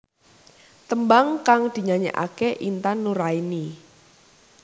Tembang kang dinyanyekake Intan Nuraini